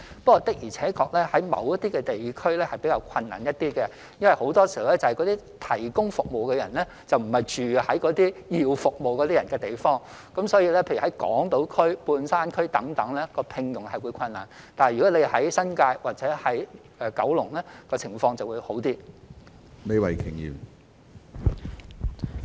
不過，的而且確，在某些地區是比較困難一點，因為那些提供服務的人並非住在需要服務的人居住的地區，例如在港島區、半山區等聘用家庭傭工會比較困難，但在新界或九龍，情況會比較好。